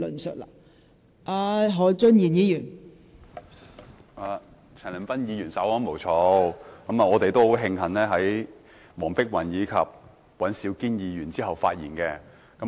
陳恒鑌議員稍安毋躁，我們應該慶幸在黃碧雲議員和尹兆堅議員之後發言。